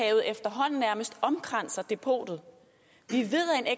efterhånden nærmest omkranser depotet vi